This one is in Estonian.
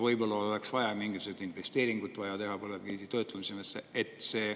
Võib-olla meil oleks vaja mingisuguseid investeeringuid teha põlevkivi töötlemiseks.